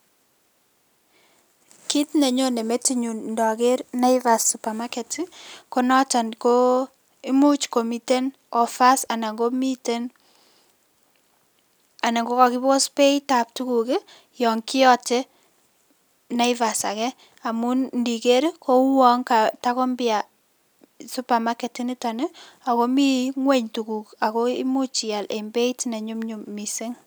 Kit ne nonyen metit nyun ndaker Naivas supermarket, ko noton ko imuch komiten offers anan komiten, anan ko ka kakibos beit ab tuguk, yan kiyoten Naivas age, amun ndiker kouwon tago mpya supermarket nitoni ako mi ng'uny tuguk ako imuch ial en beit ne nyum nyum mising